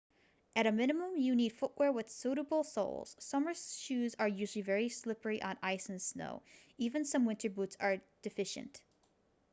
at a minimum you need footwear with suitable soles summer shoes are usually very slippery on ice and snow even some winter boots are deficient